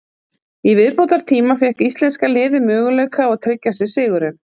Í viðbótartíma fékk íslenska liðið möguleika á að tryggja sér sigurinn.